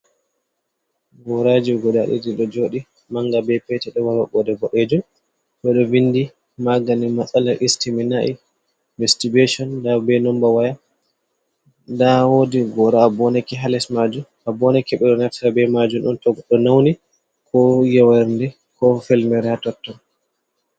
Goraji guda ɗiɗi ɗo joɗi, manga be petel ɗoma mabɓoɗe boɗeje, bo’ejun ɓeɗo vindi magani masala istiminai be mastibecon nda be nomba waya, nda wodi gora a boneke ha les majum a boneke ɓeɗo neftira be majum to goddo nauni ko yewere ko felmera totton.